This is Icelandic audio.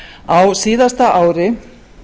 á síðasta ári